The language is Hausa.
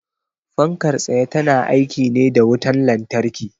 Fankar tsaye ta na aiki ne da wutan lantarki